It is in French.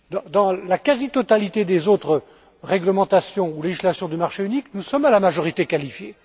Dans la quasi totalité des autres réglementations ou législations du marché unique, nous sommes à la majorité qualifiée.